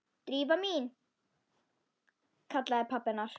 Drífa mín- kallaði pabbi hennar.